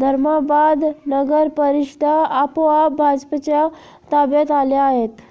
धर्माबाद नगर परिषदा आपोआप भाजपच्या ताब्यात आल्या आहेत